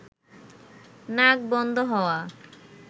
নাক বন্ধ হওয়া